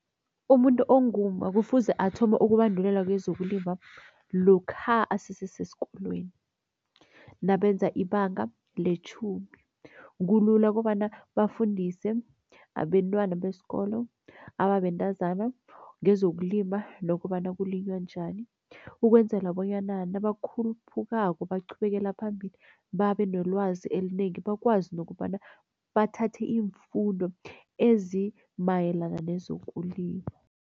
Umuntu ongumma kufuze athome ukubandulelwa kwezokulima lokha asese sesikolweni nabenza ibanga letjhumi. Kulula kobana bafundise abentwana besikolo ababentazana ngezokulima nokobana kulinywa njani. Ukwenzela bonyana nabakhuphukako, baqhubekela phambili babe nelwazi elinengi. Bakwazi nokobana bathathe iimfundo ezimayelana nezokulima.